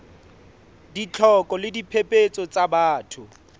ditlhoko le diphephetso tsa batho